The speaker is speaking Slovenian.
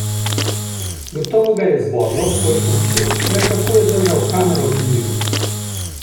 Gotovo ga je zbodlo, ko je to videl, le kako je držal kamero pri miru?